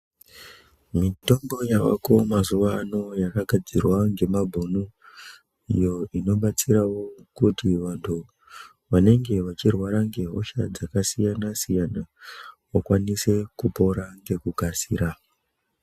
Mitombo yavako mazuva ano yakagadzirwa nemabhunu inobatsirawo kuti vantu vanenge vachirwara ngehosha dzakasiyana siyana vakwanise kupora ngekukasira.